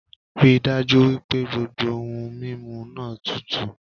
Ríi dájú wípé gbogbo ohun mímu náà tutù